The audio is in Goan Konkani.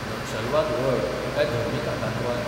नक्षलवाद व्हड, काय धर्मीक आकांतवाद?